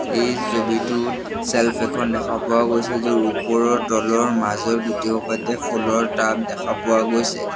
এই ছবিটোত চেল্ফ এখন দেখা পোৱা গৈছে য'ৰ ওপৰৰ তলৰ মাজৰ গোটেইহোপাতে ফুলৰ টাব দেখা পোৱা গৈছে।